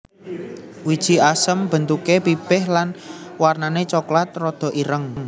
Wiji asem bentuké pipih lan wernané coklat rada ireng